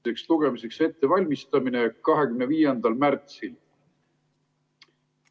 ... teiseks lugemiseks ettevalmistamine 25. märtsil.